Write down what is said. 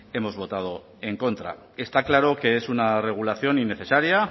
hemos votado en contra está claro que es una regulación innecesaria